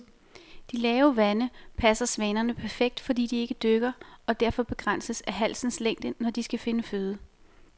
De lave vande passer svanerne perfekt, fordi de ikke dykker og derfor begrænses af halsens længde, når de skal finde føde.